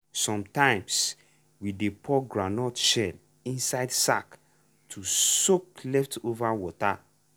sometimes we dey pour groundnut shell inside sack to soak leftover water.